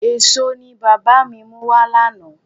Èso ni bàbá mi mú wá lánàá.